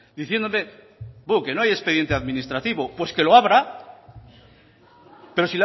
diciéndome buh que no hay expediente administrativo pues que lo abra pero